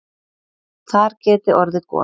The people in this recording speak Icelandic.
Þar geti orðið gos.